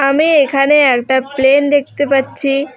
আমি এখানে একটা প্লেন দেখতে পাচ্ছি।